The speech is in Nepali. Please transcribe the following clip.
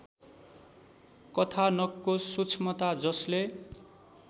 कथानकको सूक्ष्मता जसले